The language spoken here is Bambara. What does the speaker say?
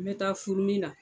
N me taa furumi na